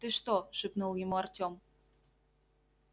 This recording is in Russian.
ты что шепнул ему артём